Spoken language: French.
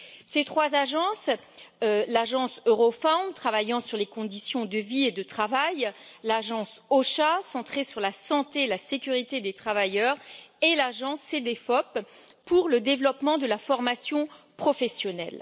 Ces trois agences sont l'agence Eurofound, travaillant sur les conditions de vie et de travail, l'agence EU OSHA, centrée sur la santé et la sécurité des travailleurs, et l'agence Cedefop pour le développement de la formation professionnelle.